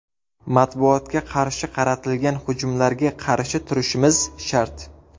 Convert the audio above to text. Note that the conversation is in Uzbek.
Matbuotga qarshi qaratilgan hujumlarga qarshi turishimiz shart.